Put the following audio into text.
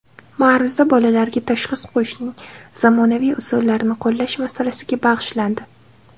Ma’ruza bolalarga tashxis qo‘yishning zamonaviy usullarini qo‘llash masalasiga bag‘ishlandi.